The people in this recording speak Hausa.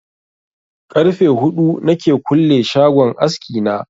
Karfe huɗu na ke kulle shagon aski na